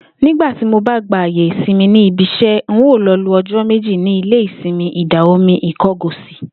Nígbà tí mo bá gba àyè ìsimi níbi is̩é̩, n óò lo̩ lo o̩jó̩ méjì ní ilé-ìsimi Ìdà-omi Ìko̩gòsì